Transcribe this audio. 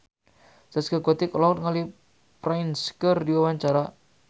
Zaskia Gotik olohok ningali Prince keur diwawancara